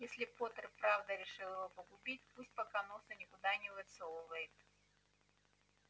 если поттер и правда решил его погубить пусть пока носа никуда не высовывает